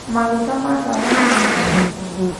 Maguta ma tawa nĩmathira.